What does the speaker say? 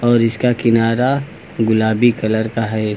और इसका किनारा गुलाबी कलर का है।